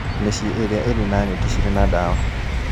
Mĩciĩ ĩrĩa ĩrĩ na neti cirĩ na dawa